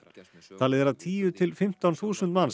talið er að tíu til fimmtán þúsund manns